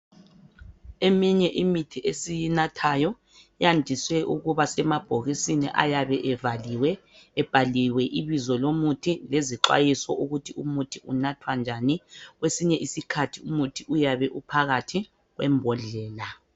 Eminye imithi esiyinathayo yandiswe ukuba semabhokisini ayabe evaliwe ebhaliwe ibizo lomuthi lezixwayiso ukuthi umuthi unathwa njani .Kwesinye isikhathi umuthi uyabe uphakathi kwembodlela